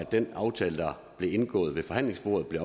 den aftale der blev indgået ved forhandlingsbordet blev